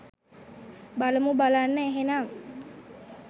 බලමු බලන්න එහෙනම්